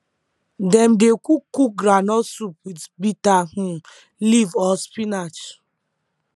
dem dey cook cook groundnut soup with bitter um leaf or spinach